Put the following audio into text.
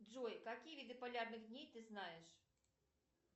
джой какие виды полярных дней ты знаешь